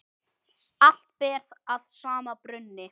Allt ber að sama brunni.